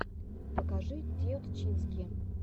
покажи теутчински